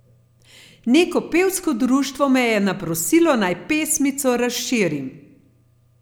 Neko pevsko društvo me je naprosilo naj pesmico razširim.